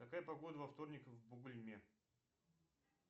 какая погода во вторник в бугульме